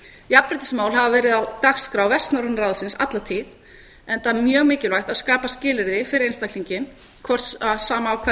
jafnréttismál hafa verið á dagskrá vestnorræna ráðsins alla tíð enda mjög mikilvægt að skapa skilyrði fyrir einstaklinginn sama af hvaða kyni